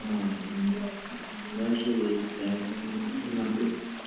ആ എന്നാ ശരി നന്ദി